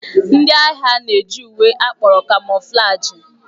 Ndị agha na-eji uwe akpọrọ kamoflaji.